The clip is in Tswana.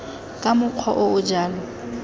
ka mokgwa o o jalo